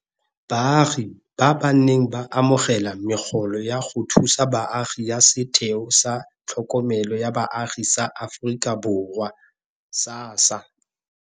Baagi ba ba neng ba amogela megolo ya go thusa baagi ya Setheo sa Tlhokomelo ya Baagi sa Aforika Borwa SASSA.